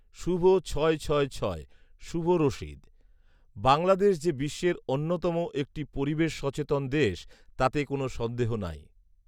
শুভ ছয় ছয় ছয়, শুভ রশীদ, বাংলাদেশ যে বিশ্বের অন্যতম একটি পরিবেশ সচেতন দেশ তাতে কোন সন্দেহ নেই